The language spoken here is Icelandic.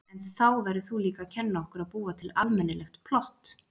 En þá verður þú líka að kenna okkur að búa til almennilegt plott.